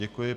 Děkuji.